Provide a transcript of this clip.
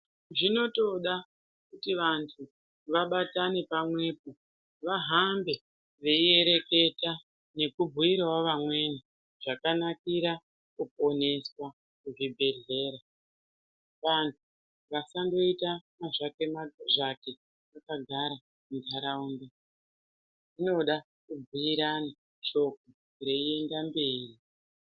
Zvinotoda kuti vantu vabatane pamwepo vahambe veiereketa nekubhuiravo vamweni zvakanakira kuponeswa muzvibhedhlera. Vantu vasandoita mazvake-mazvake vakagara muntaraunda zvinoda kubhuirana shoko reienda mberi.